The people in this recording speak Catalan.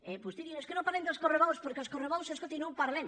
vostè diu és que no parlem dels correbous perquè els correbous escolti no parlem